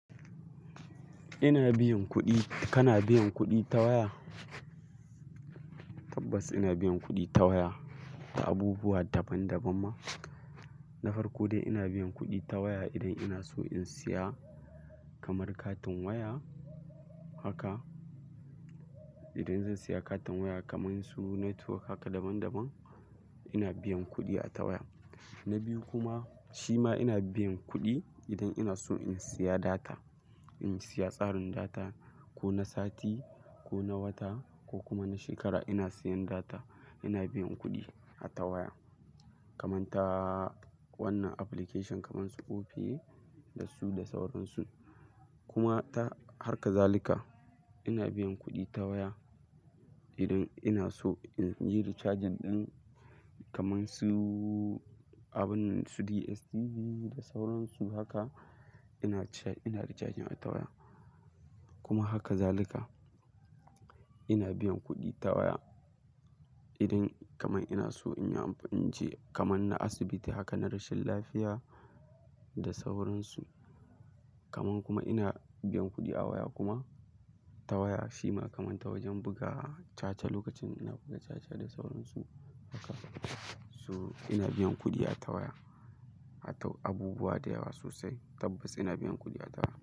Ina biyan kuɗi, kana biyan kuɗi ta waya? Tabbas ina biyan kuɗi ta waya ta abubuwa daban-daban ma. Na farko dai ina biyan kuɗi ta waya idan ina so in siya kamar katin waya haka. Idan zan siya katin waya kamar su network haka daban-daban ina biyan kuɗi a ta waya. Na biyu kuma, shi ma ina biyan kuɗi idan ina so in siya data. In siya tsarin data ko na sati, ko na wata ko kuma na shekara ina siyan data ina biyan kuɗi a ta waya. Kaman ta wannan application kamar su Opay da su da sauran su. Kuma ta har kazalika ina biyan kuɗi ta waya idan ina so in yi rechargin ɗin kamar su abunnan su DSTV da sauran su haka ina cha-- ina recharging a ta waya. Kuma haka zalika ina biyan kuɗi ta waya idan kamar ina so in yi amfan-- in je kamar na asibiti haka na rashin lafiya da sauran su. Kaman kuma ina biyan kuɗi a waya kuma ta waya shi ma kamar ta wajen buga caca lokacin da ina buga caca da sauran su haka. To ina biyan kuɗi a ta waya, a toh abubuwa da yawa sosai. Tabbas ina biyan kuɗi a ta.